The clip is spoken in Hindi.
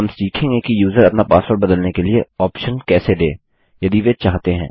हम सीखेंगे कि यूज़र अपना पासवर्ड बदलने के लिए ऑप्शन कैसे दे यदि वे चाहते हैं